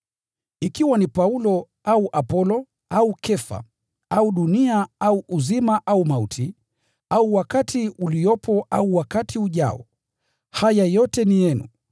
ikiwa ni Paulo au Apolo au Kefa au dunia au uzima au mauti, au wakati uliopo au wakati ujao, haya yote ni yenu